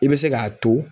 I bɛ se k'a to